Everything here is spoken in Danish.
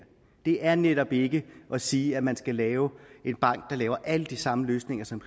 det er netop ikke at sige at man skal lave en bank der laver alle de samme løsninger som